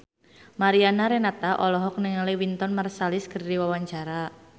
Mariana Renata olohok ningali Wynton Marsalis keur diwawancara